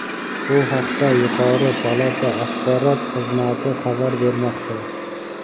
Bu haqda yuqori palata Axborot xizmati xabar bermoqda.